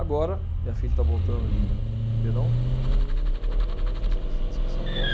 Agora, minha filha está voltando de Ribeirão, né, vai vai fazer a residência aqui em São Paulo.